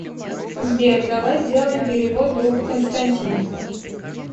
сбер давай сделаем перевод другу константин